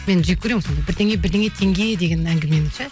мен жеккөремін сондай бірдеңе бірдеңе теңге деген әңгімені ше